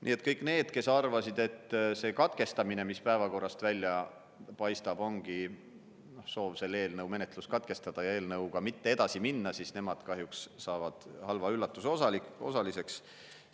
Nii et kõik need, kes arvasid, et see katkestamine, mis päevakorrast välja paistab, ongi soov selle eelnõu menetlus katkestada ja eelnõuga mitte edasi minna, siis nemad kahjuks saavad halva üllatuse osaliseks.